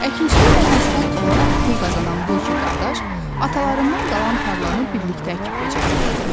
Əkinçiliklə məşğul olaraq pul qazanan bu iki qardaş atalarından qalan tarlanı birlikdə əkib becərirdilər.